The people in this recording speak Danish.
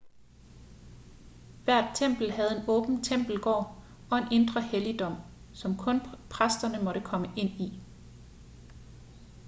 hvert tempel havde en åben tempelgård og en indre helligdom som kun præsterne måtte komme ind i